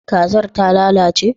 kazar ta lalace?